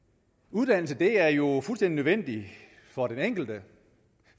uddannelse er jo fuldstændig nødvendigt for den enkelte